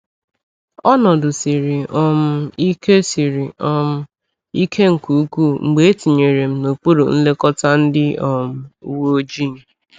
Ọnọdụ siri um ike siri um ike nke ukwuu mgbe etinyere m n’okpuru nlekọta ndị um uweojii.